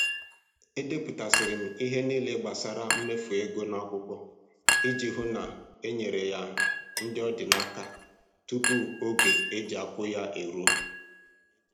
Edepụtasịrị m ihe niile gbasara mmefu ego n'akwụkwọ iji hụ na enyefere ya ndị ọ dị n'aka tupu oge e ji akwụ ya eruo